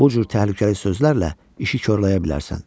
Bu cür təhlükəli sözlərlə işi korlaya bilərsən.